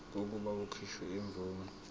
kokuba kukhishwe imvume